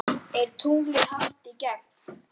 Er tunglið hart í gegn?